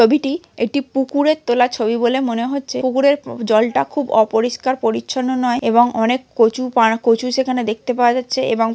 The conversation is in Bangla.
ছবিটি একটি পুকুরের তোলা ছবি বলে মনে হচ্ছে পুকুরের জলটা খুব অপরিষ্কার পরিচ্ছন্ন নয় এবং অনেক কচু পানা কচু সেখানে দেখতে পাওয়া যাচ্ছে এবং --